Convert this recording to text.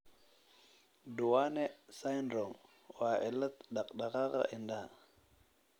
Duane syndrome waa cillad dhaqdhaqaaqa indhaha.